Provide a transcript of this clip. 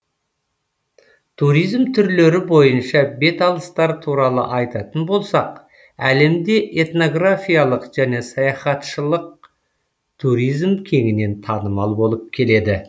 туризм түрлері бойынша беталыстар туралы айтатын болсақ әлемде этнографиялық және саяхатшылық туризм кеңінен танымал болып келеді